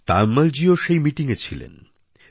তায়ম্মলজীও সেই মিটিংএ ছিলেন